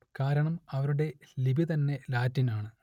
കാരണം അവരുടെ ലിപി തന്നെ ലാറ്റിൻ ആണ്